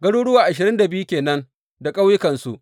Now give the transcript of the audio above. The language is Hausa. Garuruwa ashirin da biyu ke nan da ƙauyukansu.